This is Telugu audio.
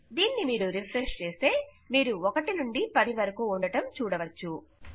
దీనిని మీరు రిఫ్రెష్ చేస్తే మీరు 1 నుండి 10 కు ఉండడం చూడవచ్చు